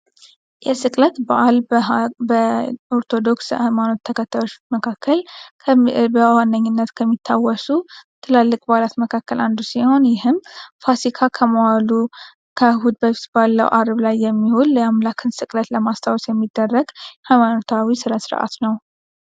የስቅለት በዓል በኦርቶዶክስ ተዋህዶ እምነት ተከታዮች መካከል በነኝነት ከሚታወሱ ትላልቅ በዓላት መካከል አንዱ ነው ይህም ፋሲካ ከመዋሉ ከእሁድ በፊት ካለው አርብ ላይ የሚውል የሃይማኖት ስነ ስርዓት ነው።